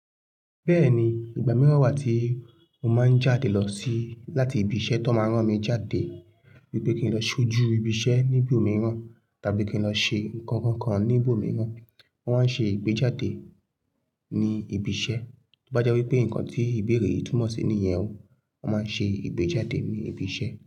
Bẹ́ẹ̀ni, ìgbà mìíràn wà tí mo máa ń jáde lọ sí láti ibi iṣẹ́ tó n máa rán mi jáde wípé kí n lọ ṣojú ibi iṣẹ́ ní ibòmíràn tàbí kí n lọ ṣe ǹkan kan ní ibòmíràn. Wọ́n máa ń ṣe ìgbéjáde ní ibi iṣẹ́. To bá jẹ́ wípé ǹkan tí ìbéèrè yìí túmọ̀ sí nìyẹn ó, wón máa ṣe ìgbéjáde ní ibi iṣẹ́